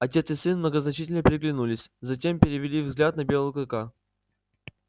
отец и сын многозначительно переглянулись затем перевели взгляд на белого клыка